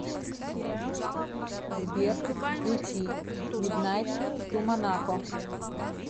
сбер включи миднайт ту монако